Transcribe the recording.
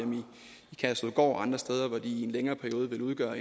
kærshovedgård og andre steder hvor de i en længere periode vil udgøre